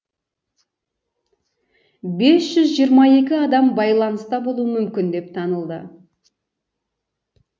бес жүз жиырма екі адам байланыста болуы мүмкін деп танылды